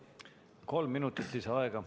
Kolm minutit lisaaega!